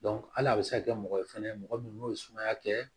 hali a bɛ se ka kɛ mɔgɔ ye fɛnɛ mɔgɔ min n'o ye sumaya kɛ